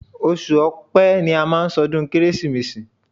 Oṣù ọpẹ́ ni a má ń ṣọdún kérésìmesì.